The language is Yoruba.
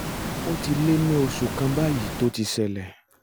ó ti lé ní oṣù kan báyìí tó ti ṣẹlẹ̀